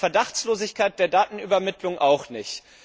An der Verdachtslosigkeit der Datenübermittlung auch nicht.